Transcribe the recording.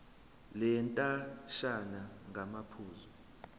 le ndatshana ngamaphuzu